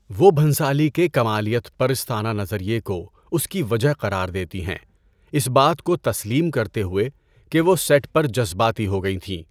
وہ بھنسالی کے کمالیت پرستانہ نظریہ کو اس کی وجہ قرار دیتی ہیں، اس بات کو تسلیم کرتے ہوئے کہ وہ سیٹ پر جذباتی ہو گئی تھیں۔